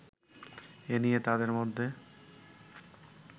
এ নিয়ে তাদের মধ্যে